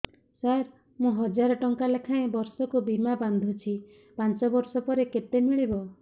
ସାର ମୁଁ ହଜାରେ ଟଂକା ଲେଖାଏଁ ବର୍ଷକୁ ବୀମା ବାଂଧୁଛି ପାଞ୍ଚ ବର୍ଷ ପରେ କେତେ ମିଳିବ